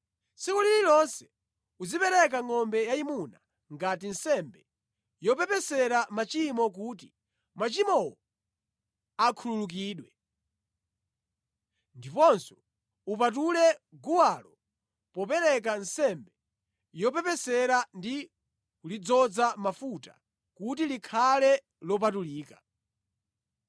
Tsiku lililonse uzipereka ngʼombe yayimuna ngati nsembe yopepesera machimo kuti machimowo akhululukidwe. Ndiponso upatule guwalo popereka nsembe yopepesera ndi kulidzoza mafuta kuti likhale lopatulika.